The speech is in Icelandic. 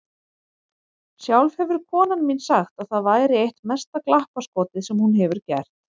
Sjálf hefur konan mín sagt að það væri eitt mesta glappaskotið sem hún hefur gert.